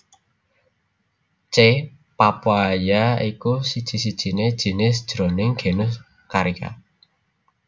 C papaya iku siji sijiné jinis jroning genus Carica